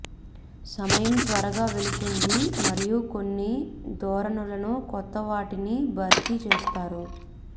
సమయం త్వరగా వెళుతుంది మరియు కొన్ని ధోరణులను కొత్త వాటిని భర్తీ చేస్తారు